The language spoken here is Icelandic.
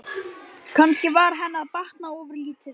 Kannski var henni að batna ofurlítið.